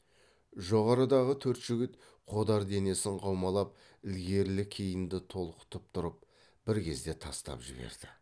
жоғарыдағы төрт жігіт қодар денесін қаумалап ілгерілі кейінді толқытып тұрып бір кезде тастап жіберді